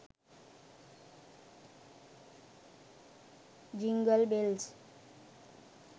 jingle bells